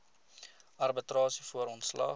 arbitrasie voor ontslag